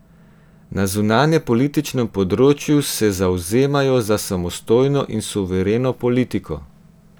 Na zunanje politčnem področju se zavzemajo za samostojno in suvereno politiko.